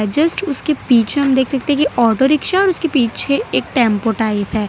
Just उसके पीछे हम देख सकते हैं कि ऑटो रिक्शा और उसके पीछे एक टेंपो टाइप है।